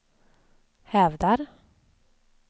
hävdar